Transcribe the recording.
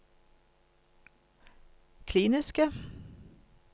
kliniske